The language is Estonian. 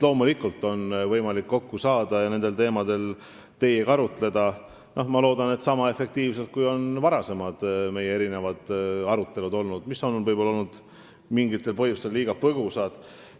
Loomulikult on võimalik kokku saada ja nendel teemadel teiega arutleda, ma loodan, et niisama efektiivselt, kui on olnud meie varasemad arutelud, mis on mingitel põhjustel jäänud võib-olla liiga põgusaks.